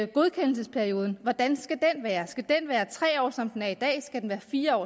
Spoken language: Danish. godkendelsesperioden hvordan skal den være skal den være tre år som den er i dag skal den være fire år